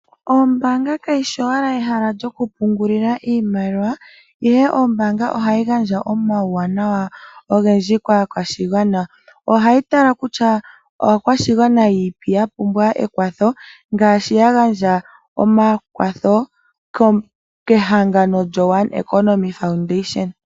Ombaanga kayishi owala ehala lyoku pungulila Iimaliwa, ihe ombaanga ohayi gandja omauwanawa ogendji kaakwashigwana. Ohayi tala kutya aakwashigwana yiipi ya pumbwa ekwatho, ngaashi ya gandja omakwatho kehangano lyo One Economy Foundation